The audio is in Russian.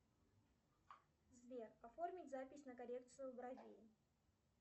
сбер оформить запись на коррекцию бровей